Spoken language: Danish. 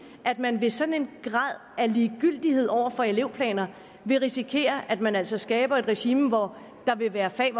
at man ved sådan en grad af ligegyldighed over for elevplaner vil risikere at man altså skaber et regime hvor der vil være fag